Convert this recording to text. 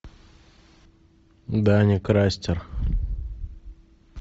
даня крастер